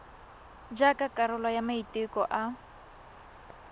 jaaka karolo ya maiteko a